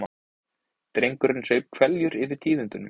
Drengurinn saup hveljur yfir tíðindunum.